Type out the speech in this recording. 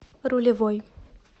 рулевой